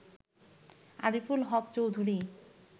Ariful Haque Chowdhury